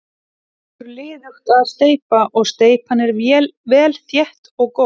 Gengur liðugt að steypa og steypan er vel þétt og góð.